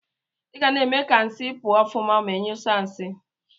Igana eme ka nsi pụọ ọfụma ma inyụsie nsi.